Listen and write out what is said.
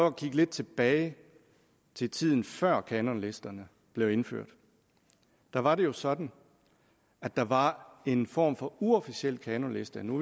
at kigge lidt tilbage til tiden før kanonlisterne blev indført da var det jo sådan at der var en form for uofficiel kanonliste og nu